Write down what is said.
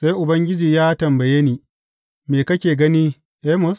Sai Ubangiji ya tambaye ni, Me kake gani, Amos?